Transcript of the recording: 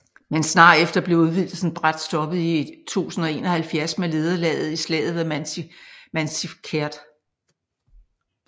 Men snart efter blev udvidelsen brat stoppet i 1071 med nederlaget i Slaget ved Manzikert